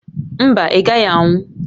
Mba, ị gaghị anwụ